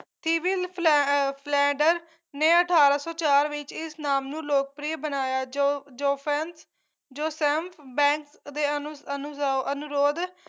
civil ਫਲੈ ਅਹ Flinders ਨੇ ਅਠਾਰਾਂ ਸੌ ਚਾਰ ਵਿੱਚ ਇਸ ਨਾਮ ਨੂੰਲੋਕਪ੍ਰਿਯ ਬਣਾਇਆ ਜੋ ਜ਼ੋਫੈਂਸ ਜੋਸੈਂਫ ਬੈਂਕ ਦੇ ਅਨੂ ਅਨੁਰੋਧ